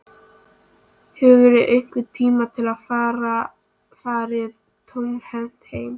Helga María Guðmundsdóttir: Hefurðu einhvern tímann farið tómhent heim?